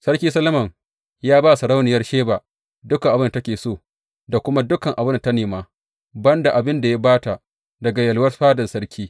Sarki Solomon ya ba wa sarauniyar Sheba dukan abin da take so, da kuma duk abin da ta nema, ban da abin da ya ba ta daga yalwar fadan sarki.